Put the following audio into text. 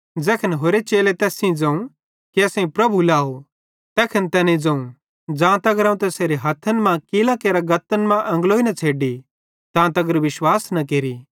ज़ैखन होरि चेले तैस सेइं ज़ोवं कि असेईं प्रभु लाव तैखन तैनेईं ज़ोवं ज़ां तगर अवं तैसेरे हथ्थन मां कीलां करां गत्तन मां एंगलोई न छ़ेड्डी तां तगर विश्वास न केरि